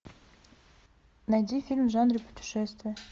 найди фильм в жанре путешествия